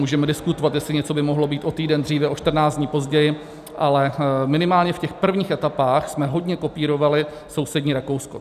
Můžeme diskutovat, jestli něco by mohlo být o týden dříve, o 14 dní později, ale minimálně v těch prvních etapách jsme hodně kopírovali sousední Rakousko.